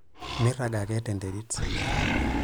Mirag ake tenterit.